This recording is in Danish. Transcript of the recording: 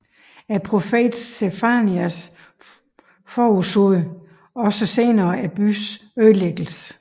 Profeten Sefanias forudsagde også senere byens ødelæggelse